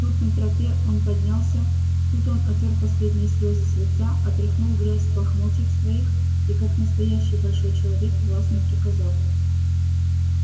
тут на тропе он поднялся тут он отёр последние слёзы с лица отряхнул грязь с лохмотьев своих и как настоящий большой человек властно приказал